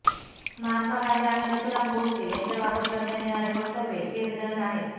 महात्मा गांधी आणि नथुराम गोडसे यांच्याबाबत करण्यात येणारी वक्तव्ये खेदजनक आहेत